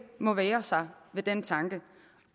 må vægre sig ved den tanke